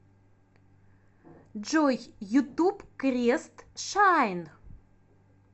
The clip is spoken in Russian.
джой ютуб крест шайн